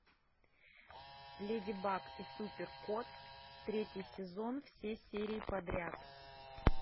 леди баг и супер кот третий сезон все серии подряд